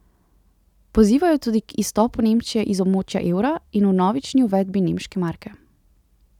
Pozivajo tudi k izstopu Nemčije iz območja evra in vnovični uvedbi nemške marke.